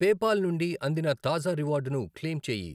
PayPal నుండి అందిన తాజా రివార్డును క్లెయిమ్ చేయి.